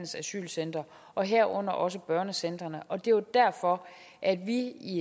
asylcentre og herunder også børnecentrene og det er derfor at vi